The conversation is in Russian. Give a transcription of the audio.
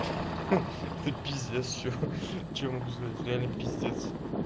хи это пиздец чё могу сказать реально пиздец